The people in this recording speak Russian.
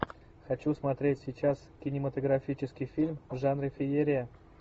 хочу смотреть сейчас кинематографический фильм в жанре феерия